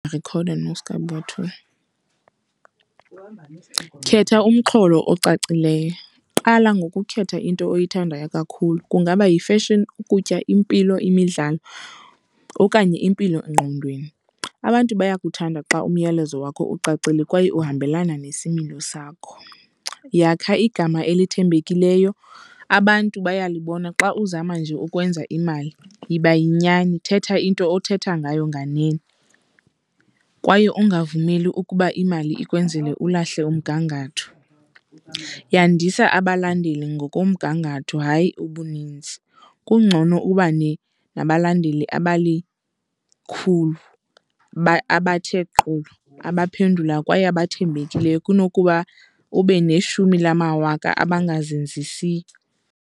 Khetha umxholo ocacileyo. Qala ngokukhetha into oyithandayo kakhulu, kungaba yi-fashion, ukutya, impilo, imidlalo okanye impilongqondweni. Abantu bayakuthanda xa umyalezo wakho ucacile kwaye uhambelana nesimilo sakho. Yakha igama elithembelekileyo, abantu bayalibona xa uzama nje ukwenza imali. Yiba yinyani, thetha into othetha ngayo nganene kwaye ungavumeli ukuba imali ikwenzele ulahle umgangatho. Yandisa abalandeli ngokomgangatho, hayi ubuninzi. Kungcono nabalandeli abalikhulu abathe abaphendula kwaye abathembekileyo kunokuba ube neshumi lamawaka abangazenzisiyo.